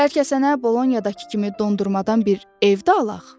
Bəlkə sənə Bolonyadakı kimi dondurmadan bir ev də alaq?